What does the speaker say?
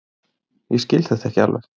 Ég skil þetta ekki alveg.